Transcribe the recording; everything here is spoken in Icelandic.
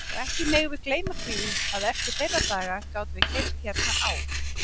Og ekki megum við gleyma því að eftir þeirra dag gátum við keypt hérna á